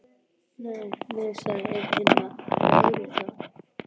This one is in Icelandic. Nei, nei sagði einn hinna, það væri óréttlátt